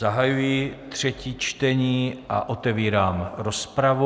Zahajuji třetí čtení a otevírám rozpravu.